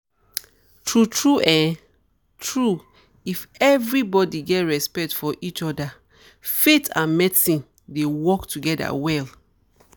true true[um]true if everybody get respect for each other faith and medicine dey work together well